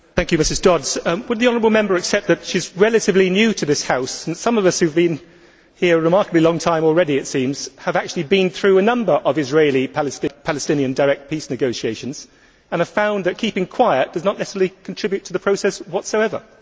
Mr President, I thank Mrs Dodds. Would the honourable Member accept that she is relatively new to this House. Some of us who have been here a remarkably long time already, it seems, have actually been through a number of Israeli Palestinian direct peace negotiations and have found that keeping quiet does not necessarily contribute to the process whatsoever?